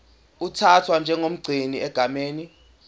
uthathwa njengomgcini egameni